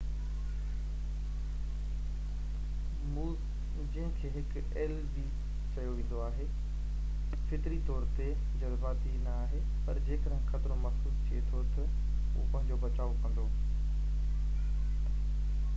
موز جنهن کي هڪ ايل به چيو ويندو آهي فطري طور تي جذباتي نہ آهي، پر جيڪڏهن خطرو محسوس ٿئي ٿو تہ هو پنهنجو بچاءُ ڪندو